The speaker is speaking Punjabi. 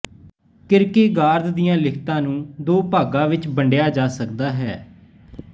ਕਿਰਕੇਗਾਰਦ ਦੀਆਂ ਲਿਖਤਾਂ ਨੂੰ ਦੋ ਭਾਗਾਂ ਵਿਚ ਵੰਡਿਆ ਜਾ ਸਕਦਾ ਹੈ